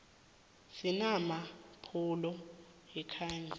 sinama apholo ayakhanyisa